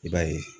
I b'a ye